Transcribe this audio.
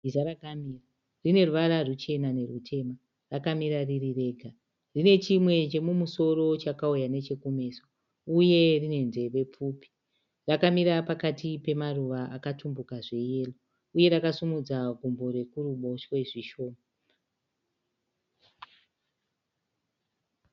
Bhiza rakamira rine ruvara ruchena nerutema, rakamira riri rega rine chimwe chemumusoro chakauya nechekumeso uye rine nzeve pfupi, rakamira pakati pemaruva akatumbuka zveyero uye rakasumudza gumbo rekuruboshwe zvishoma.